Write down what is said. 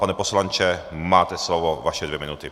Pane poslanče, máte slovo, vaše dvě minuty.